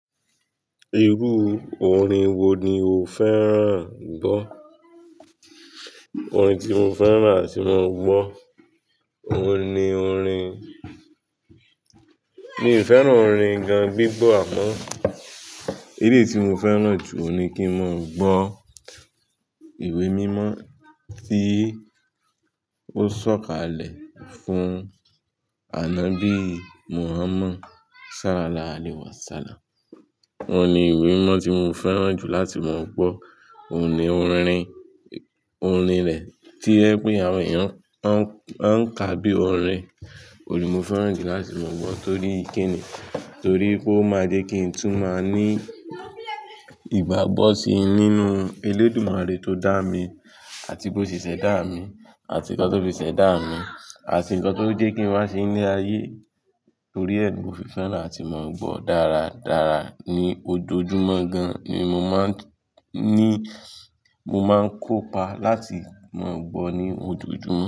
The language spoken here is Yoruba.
Irú orin wo ni o fẹ́ràn gbọ́? Orin tí mo fẹ́ràn àti máa gbọ́, òun ni orin Mi ò fẹ́ràn orin gan gbígbọ́ àmọ́ èleyí tí mo fẹ́ràn jù ni kí n máa gbọ́ ìwé mímọ́ tí ó sọ̀kalẹ̀ fún ànábí Muhammad. Ṣalá lá ale wasalám. Oun ni ìwé mímọ́ tí mo fẹ́ràn jù láti máa gbọ́. Òun ni orin, orin rẹ̀ tí o jẹ pé àwọn èèyàn ń ka bí i orin, òun ni mo fẹ́ràn jù láti máa gbọ́ torí kíni, torí pé ó máa jẹ́ kí n tún máa ní ìgbàgbọ́ sí nínú Elédùmarè tó dá mi àti bó ṣẹ̀ṣẹ̀ dá mi àti nǹkan tó fi ṣẹ̀ dá mi àti nǹkan tó jẹ́ kí n wá sí inú ayé. Torí ẹ ni mo fi fẹ́ràn àti máa ń gbọ́ dáradára ní ojoojúmọ́ gan ni mo máa ń ní, mo máa ń kópa láti máa gbọ́ ní ojoojúmọ́